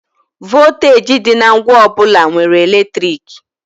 Vọlteeji dị na ngwa ọ bụla nwere eletriki.